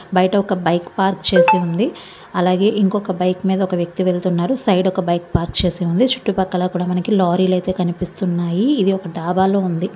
Kate Wilson నిజం showroom లో కనిపిస్తుంది. ఇక్కడ మనకి బ్లాక్ కలర్ వైట్ కలర్ అక్షరాలతో రాశారు. బయట ఒక బైక్ పార్క్ చేసి ఉంది. అలాగే ఇంకొక బైక్ మీద ఒక వ్యక్తి వెళ్తున్నాడు సైడ్ ఒక బైక్ పార్క్ చేసి ఉంది. చుట్టు పక్కల కూడా మనకి లారీలే కనిపిస్తున్నాయి. ఒక డాబాలో ఉంది.